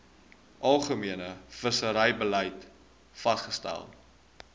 algemene visserybeleid vasgestel